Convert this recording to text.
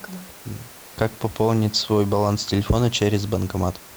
как пополнить свой баланс телефона через банкомат